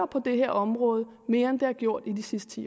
på det her område rykker mere end det har gjort de sidste